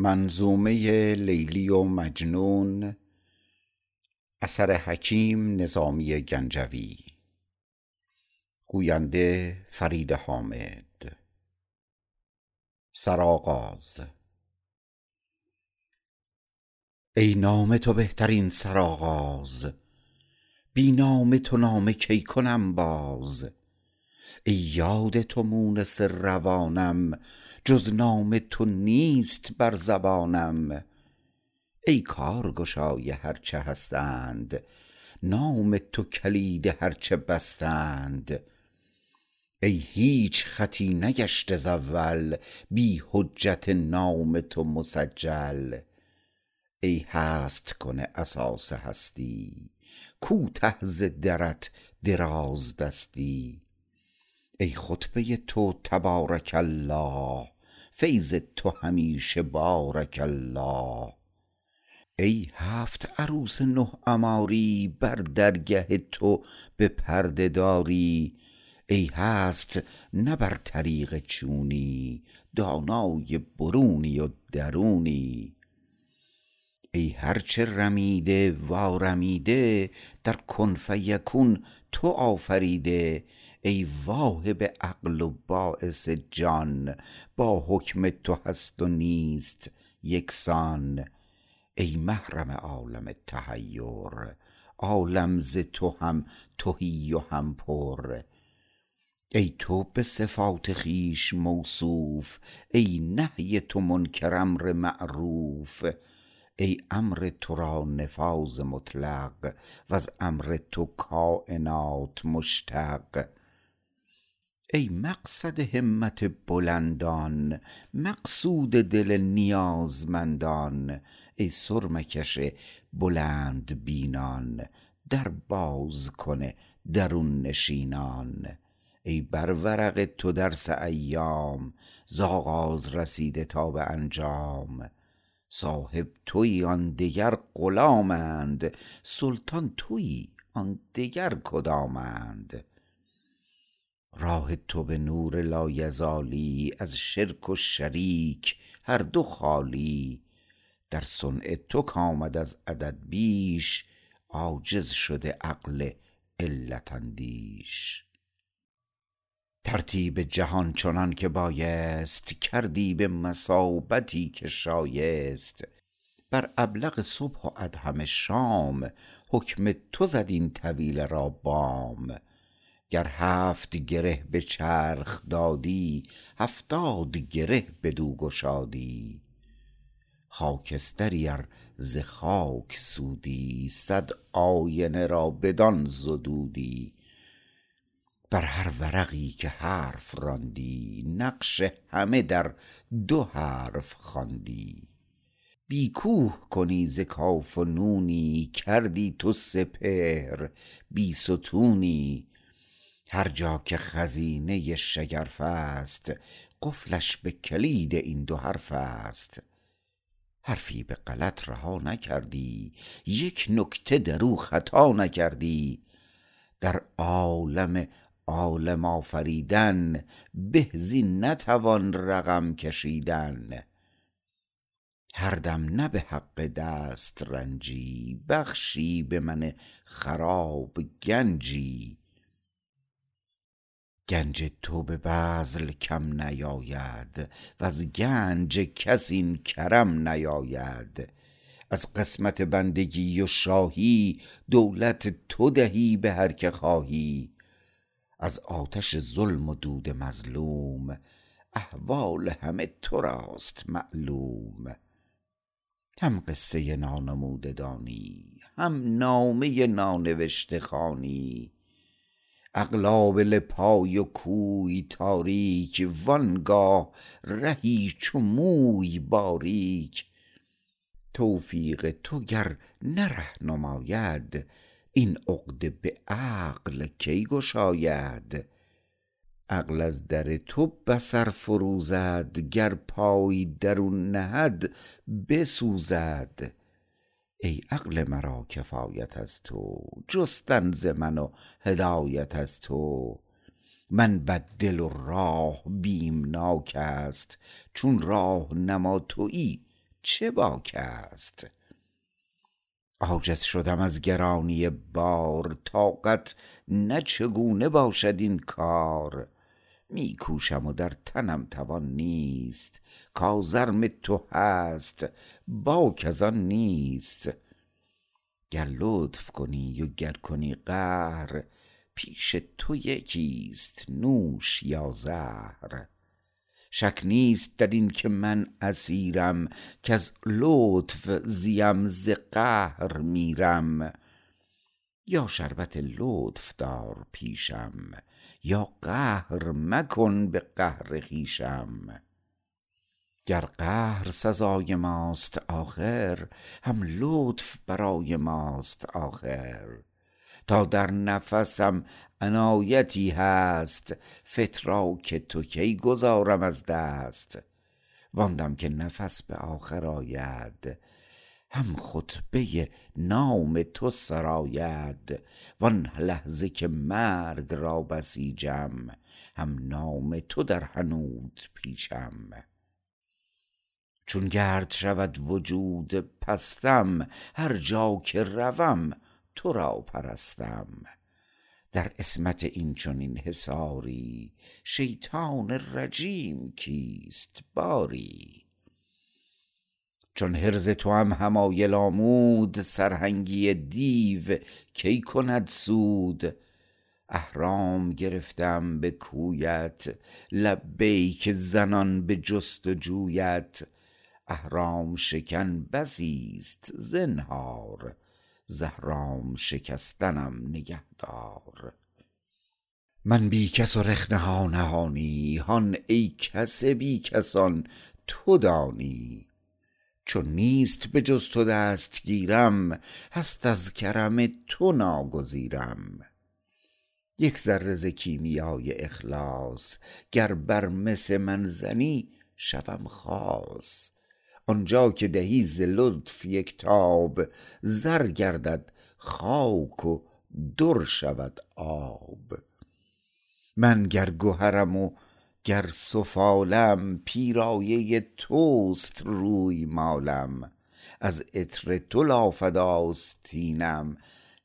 ای نام تو بهترین سرآغاز بی نام تو نامه کی کنم باز ای یاد تو مونس روانم جز نام تو نیست بر زبانم ای کارگشای هر چه هستند نام تو کلید هر چه بستند ای هیچ خطی نگشته ز اول بی حجت نام تو مسجل ای هست کن اساس هستی کوته ز درت درازدستی ای خطبه تو تبارک الله فیض تو همیشه بارک الله ای هفت عروس نه عماری بر درگه تو به پرده داری ای هست نه بر طریق چونی دانای برونی و درونی ای هرچه رمیده و آرمیده در کن فیکون تو آفریده ای واهب عقل و باعث جان با حکم تو هست و نیست یکسان ای محرم عالم تحیر عالم ز تو هم تهی و هم پر ای تو به صفات خویش موصوف ای نهی تو منکر امر معروف ای امر تو را نفاذ مطلق وز امر تو کاینات مشتق ای مقصد همت بلندان مقصود دل نیازمندان ای سرمه کش بلند بینان در باز کن درون نشینان ای بر ورق تو درس ایام ز آغاز رسیده تا به انجام صاحب تویی آن دگر غلامند سلطان تویی آن دگر کدامند راه تو به نور لایزالی از شرک و شریک هر دو خالی در صنع تو کامد از عدد بیش عاجز شده عقل علت اندیش ترتیب جهان چنانکه بایست کردی به مثابتی که شایست بر ابلق صبح و ادهم شام حکم تو زد این طویله بام گر هفت گره به چرخ دادی هفتاد گره بدو گشادی خاکستری ار ز خاک سودی صد آینه را بدان زدودی بر هر ورقی که حرف راندی نقش همه در دو حرف خواندی بی کوه کنی ز کاف و نونی کردی تو سپهر بیستونی هر جا که خزینه شگرفست قفلش به کلید این دو حرفست حرفی به غلط رها نکردی یک نکته دراو خطا نکردی در عالم عالم آفریدن به زین نتوان رقم کشیدن هر دم نه به حق دسترنجی بخشی به من خراب گنجی گنج تو به بذل کم نیاید وز گنج کس این کرم نیاید از قسمت بندگی و شاهی دولت تو دهی به هر که خواهی از آتش ظلم و دود مظلوم احوال همه تراست معلوم هم قصه نانموده دانی هم نامه نانوشته خوانی عقل آبله پای و کوی تاریک وآنگاه رهی چو موی باریک توفیق تو گر نه ره نماید این عقده به عقل کی گشاید عقل از در تو بصر فروزد گر پای درون نهد بسوزد ای عقل مرا کفایت از تو جستن ز من و هدایت از تو من بی دل و راه بیمناک است چون راهنما تویی چه باک است عاجز شدم از گرانی بار طاقت نه چگونه باشد این کار می کوشم و در تنم توان نیست کازرم تو هست باک از آن نیست گر لطف کنی و گر کنی قهر پیش تو یکی است نوش یا زهر شک نیست در اینکه من اسیرم کز لطف زیم ز قهر میرم یا شربت لطف دار پیشم یا قهر مکن به قهر خویشم گر قهر سزای ماست آخر هم لطف برای ماست آخر تا در نفسم عنایتی هست فتراک تو کی گذارم از دست وآن دم که نفس به آخر آید هم خطبه نام تو سراید وآن لحظه که مرگ را بسیجم هم نام تو در حنوط پیچم چون گرد شود وجود پستم هرجا که روم تو را پرستم در عصمت اینچنین حصاری شیطان رجیم کیست باری چون حرز توام حمایل آمود سرهنگی دیو کی کند سود احرام گرفته ام به کویت لبیک زنان به جستجویت احرام شکن بسی است زنهار ز احرام شکستنم نگهدار من بی کس و رخنه ها نهانی هان ای کس بی کسان تو دانی چون نیست به جز تو دستگیرم هست از کرم تو ناگزیرم یک ذره ز کیمیای اخلاص گر بر مس من زنی شوم خاص آنجا که دهی ز لطف یک تاب زر گردد خاک و در شود آب من گر گهرم وگر سفالم پیرایه توست روی مالم از عطر تو لافد آستینم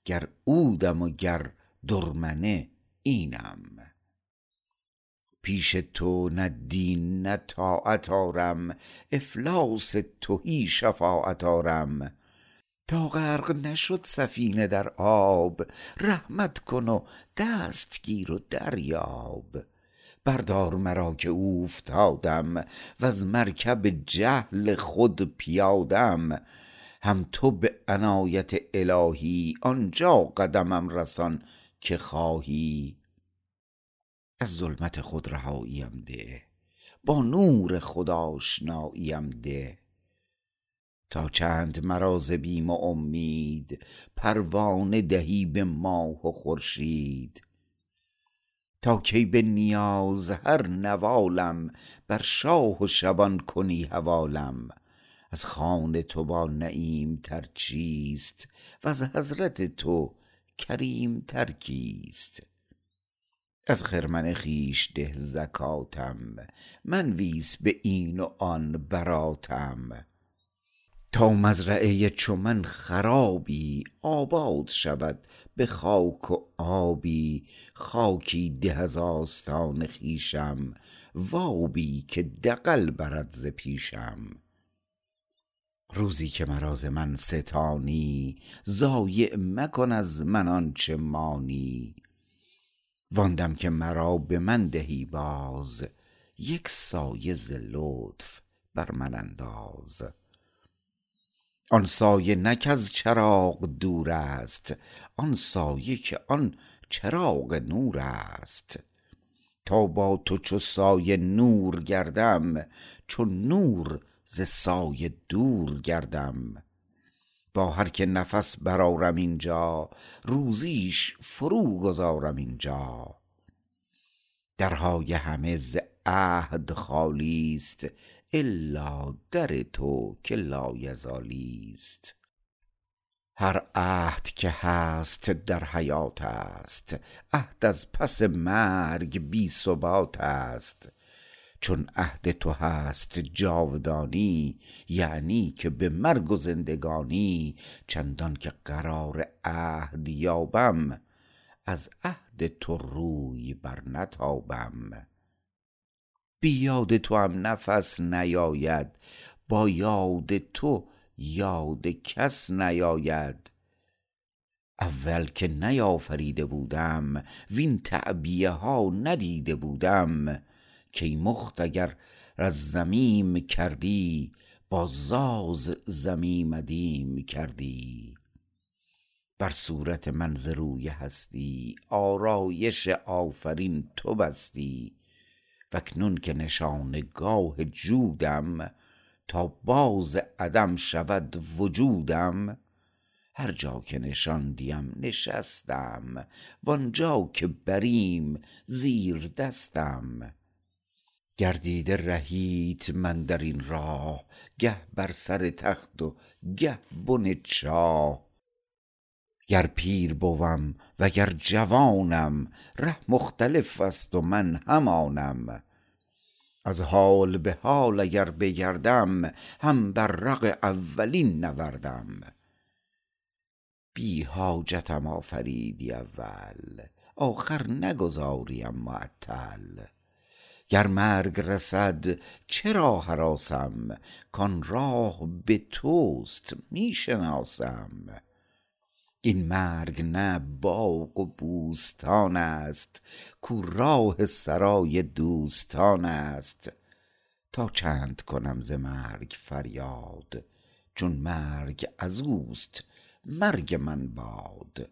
گر عودم و گر درمنه اینم پیش تو نه دین نه طاعت آرم افلاس تهی شفاعت آرم تا غرق نشد سفینه در آب رحمت کن و دستگیر و دریاب بردار مرا که اوفتادم وز مرکب جهل خود پیادم هم تو به عنایت الهی آنجا قدمم رسان که خواهی از ظلمت خود رهایی ام ده با نور خود آشنایی ام ده تا چند مرا ز بیم و امید پروانه دهی به ماه و خورشید تا کی به نیاز هر نواله م بر شاه و شبان کنی حواله م از خوان تو با نعیم تر چیست وز حضرت تو کریم تر کیست از خرمن خویش ده زکاتم منویس به این و آن براتم تا مزرعه چو من خرابی آباد شود به خاک و آبی خاکی ده از آستان خویشم وابی که دغل برد ز پیشم روزی که مرا ز من ستانی ضایع مکن از من آنچه مانی وآن دم که مرا به من دهی باز یک سایه ز لطف بر من انداز آن سایه نه کز چراغ دور است آن سایه که آن چراغ نور است تا با تو چو سایه نور گردم چون نور ز سایه دور گردم با هر که نفس برآرم اینجا روزیش فروگذارم اینجا درهای همه ز عهد خالی است الا در تو که لایزالی است هر عهد که هست در حیات است عهد از پس مرگ بی ثبات است چون عهد تو هست جاودانی یعنی که به مرگ و زندگانی چندانکه قرار عهد یابم از عهد تو روی برنتابم بی یاد توام نفس نیاید با یاد تو یاد کس نیاید اول که نیافریده بودم وین تعبیه ها ندیده بودم کیمخت اگر از زمیم کردی باز از زمی ام ادیم کردی بر صورت من ز روی هستی آرایش آفرین تو بستی واکنون که نشانه گاه جودم تا باز عدم شود وجودم هرجا که نشاندیم نشستم وآنجا که بریم زیر دستم گردیده رهیت من در این راه گه بر سر تخت و گه بن چاه گر پیر بوم و گر جوانم ره مختلف است و من همانم از حال به حال اگر بگردم هم بر رق اولین نوردم بی جاحتم آفریدی اول آخر نگذاریم معطل گر مرگ رسد چرا هراسم کان راه به توست می شناسم این مرگ نه باغ و بوستان است کاو راه سرای دوستان است تا چند کنم ز مرگ فریاد چون مرگ ازوست مرگ من باد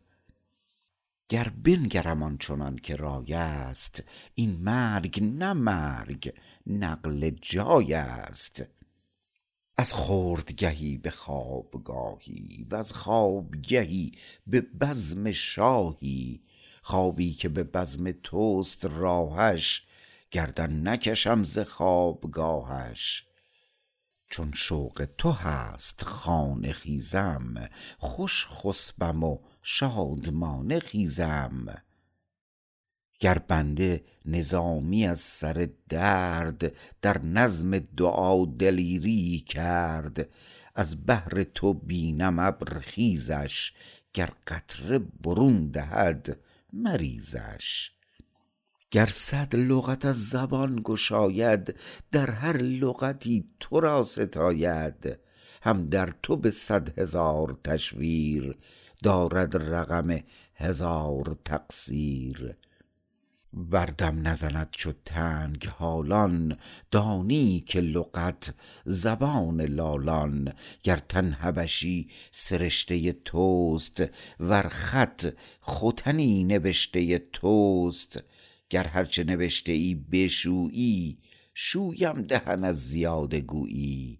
گر بنگرم آن چنان که رای است این مرگ نه مرگ نقل جای است از خوردگه ای به خوابگاهی وز خوابگه ای به بزم شاهی خوابی که به بزم تست راهش گردن نکشم ز خوابگاهش چون شوق تو هست خانه خیزم خوش خسبم و شادمانه خیزم گر بنده نظامی از سر درد در نظم دعا دلیری یی کرد از بحر تو بینم ابر خیزش گر قطره برون دهد مریزش گر صد لغت از زبان گشاید در هر لغتی ترا ستاید هم در تو به صد هزار تشویر دارد رقم هزار تقصیر ور دم نزند چو تنگ حالان دانی که لغت زبان لالان گر تن حبشی سرشته تست ور خط ختنی نبشته تست گر هر چه نبشته ای بشویی شویم دهن از زیاده گویی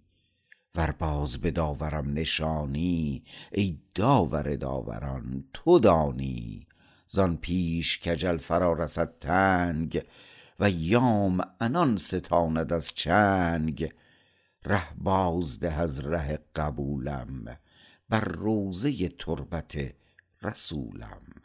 ور باز به داورم نشانی ای داور داوران تو دانی زان پیش کاجل فرا رسد تنگ و ایام عنان ستاند از چنگ ره باز ده از ره قبولم بر روضه تربت رسولم